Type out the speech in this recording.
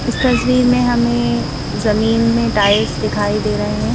इस तस्वीर में हमें जमीन में टाइल्स दिखाई दे रहे हैं।